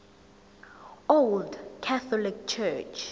old catholic church